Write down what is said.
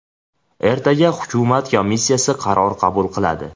Ertaga hukumat komissiyasi qaror qabul qiladi.